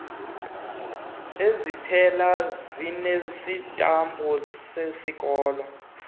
iziphelo zinesitampu sesikolo